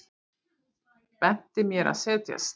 Benti mér að setjast.